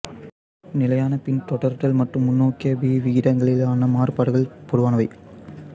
நிலையான பின்தொடர்தல் மற்றும் முன்னோக்கிய பிஇ விகிதங்களிலான மாறுபாடுகள் பொதுவானவை